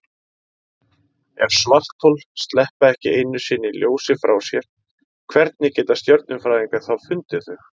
Ef svarthol sleppa ekki einu sinni ljósi frá sér, hvernig geta stjörnufræðingar þá fundið þau?